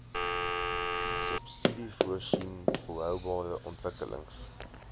subsidiesvoorsien volhoubare ontwikkelings